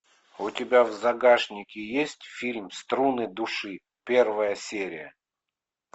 у тебя в загашнике есть фильм струны души первая серия